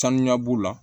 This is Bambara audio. Sanuya b'u la